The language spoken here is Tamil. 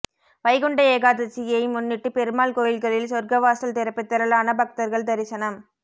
வைகுண்ட ஏகாதசியை முன்னிட்டு பெருமாள் கோயில்களில் சொர்க்கவாசல் திறப்பு திரளான பக்தர்கள் தரிசனம்